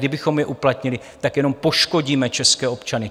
Kdybychom je uplatnili, tak jenom poškodíme české občany.